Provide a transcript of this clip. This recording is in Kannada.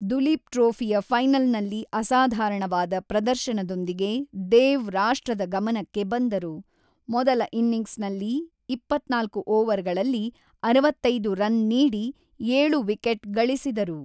ದುಲೀಪ್ ಟ್ರೋಫಿಯ ಫೈನಲ್‌ನಲ್ಲಿ ಅಸಾಧಾರಣವಾದ ಪ್ರದರ್ಶನದೊಂದಿಗೆ ದೇವ್ ರಾಷ್ಟ್ರದ ಗಮನಕ್ಕೆ ಬಂದರು, ಮೊದಲ ಇನಿಂಗ್ಸ್‌ನಲ್ಲಿ ಇಪ್ಪತ್ತ್ನಾಲ್ಕು ಓವರ್‌ಗಳಲ್ಲಿ ಅರವತ್ತೈದು ರನ್ ನೀಡಿ ಏಳು ವಿಕೆಟ್ ಗಳಿಸಿದರು.